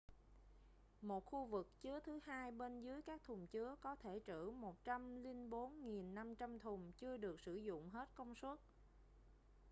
một khu vực chứa thứ hai bên dưới các thùng chứa có thể trữ 104.500 thùng chưa được sử dụng hết công suất